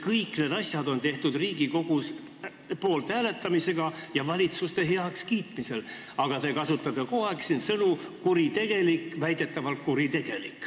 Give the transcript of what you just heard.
Kõik need asjad on otsustatud Riigikogus poolthääletamisega ja valitsuste heakskiitmisel, aga te kasutate kogu aeg sõnu "kuritegelik" või "väidetavalt kuritegelik".